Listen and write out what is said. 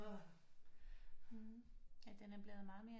Ja den er blevet meget mere